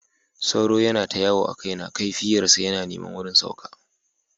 Sauro ya yana ta yawo a kaina, kaifiyar sa na neman wurin sauka.